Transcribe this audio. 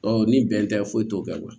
Ɔ ni bɛn tɛ foyi t'o la